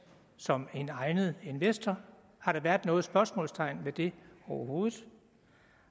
som en egnet investor har der været noget spørgsmålstegn ved det overhovedet